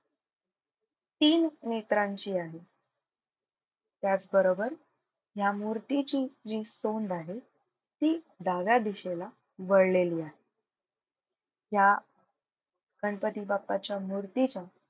तीन नेत्रांची आहे. त्याचबरोबर या मूर्ती ची जी सोंड आहे ती डाव्या दिशेला वळलेली आहे. या गणपती बाप्पाच्या मूर्तीच्या,